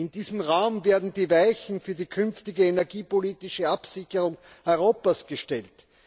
In diesem Raum werden die Weichen für die künftige energiepolitische Absicherung Europas gestellt!